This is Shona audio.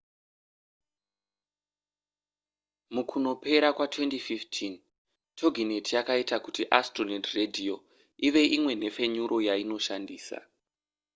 mukunopera kwa2015 toginet yakaita kuti astronet radio ive imwe nhefenyuro yainoshandisa